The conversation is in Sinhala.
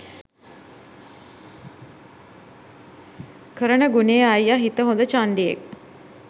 කරන ගුණෙ අයියා හිත හොඳ චණ්ඩියෙක්